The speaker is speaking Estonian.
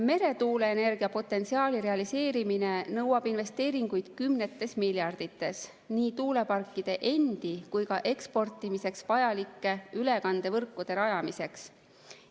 Meretuuleenergia potentsiaali realiseerimine nõuab investeeringuid kümnetes miljardites nii tuuleparkide endi kui ka eksportimiseks vajalike ülekandevõrkude rajamiseks.